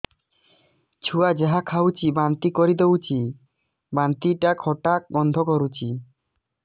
ଛୁଆ ଯାହା ଖାଉଛି ବାନ୍ତି କରିଦଉଛି ବାନ୍ତି ଟା ଖଟା ଗନ୍ଧ କରୁଛି